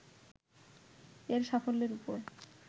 এর সাফল্যের উপর